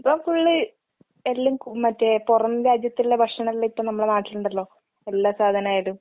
ഇപ്പം ഫുള്ള് എല്ലാം ക് മറ്റേ പൊറം രാജ്യത്ത്ള്ള ഭക്ഷണെല്ലാ ഇപ്പ നമ്മടെ നാട്ടിലിണ്ടല്ലോ, എല്ലാ സാധനായാലും.